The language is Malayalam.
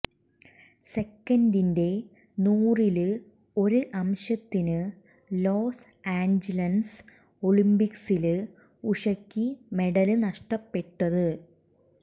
സെക്കന്റിന്റെ നൂറില് ഒരു അംശത്തിന് ലോസ് ആഞ്ചിലസ് ഒളിമ്പിക്സില് ഉഷയ്ക്ക് മെഡല് നഷ്ടപ്പെട്ടത്